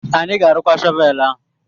Anyị ga-arụkwa shọvel ahu.